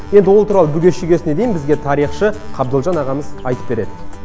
енді ол туралы бүге шүгесіне дейін бізге тарихшы қабдолжан ағамыз айтып береді